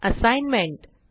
assignment